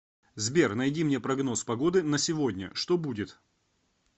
сбер найди мне прогноз погоды на сегодня что будет